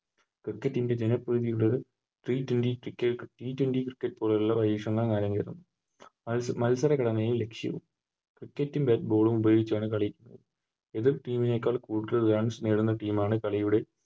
Cricket team ൻറെ T twenty t twenty cricket ആ മത്സര Cricket ൻറെ Ball ഉപയോഗിച്ചാണ് കളി എതിർ Team നേക്കാൾ കൂടുതൽ Runs നേടുന്ന Team ആണ് കളിയുടെ